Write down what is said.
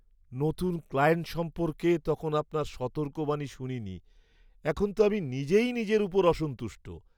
নতুন ক্লায়েন্ট সম্পর্কে তখন আপনার সতর্কবাণী শুনিনি, এখন তো আমি নিজেই নিজের ওপর অসন্তুষ্ট।